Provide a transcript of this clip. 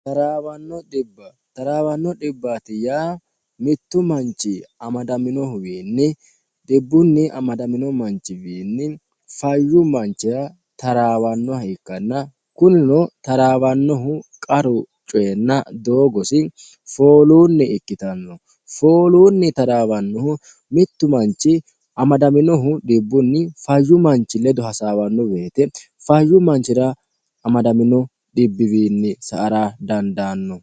taraawanno dhibbaatiya mittu manchi amadaminohuwiinni dhibbunni amadamino manchiwiinni fayyu manchira taraawannoha ikkanna kunino taraawannohu qaru coyinna doogosi fooluunni ikkitanno fooluunni taraawannohu mittu manchi amadaminohu dhibbunni fayyu manchi ledo hasaawanno beete fayyu manchira amadamino dhibbiwiinni sa ara dandaanno